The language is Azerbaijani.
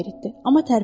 Amma tərpənmədi.